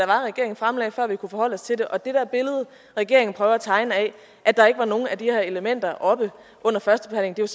var regeringen fremlagde før vi kunne forholde os til det det der billede regeringen prøver at tegne af at der ikke var nogen af de her elementer oppe under førstebehandlingen